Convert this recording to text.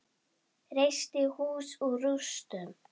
Reisti hús úr rústum.